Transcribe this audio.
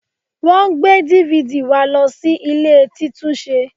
Wọ́n gbé DVD wa lọ sí ilé títúnṣe